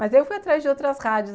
Mas eu fui atrás de outras rádios.